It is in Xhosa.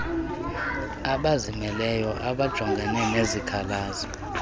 abazimeleyo abajongene nezikhalazo